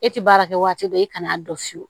E tɛ baara kɛ waati dɔ e kana n'a dɔn fiyewu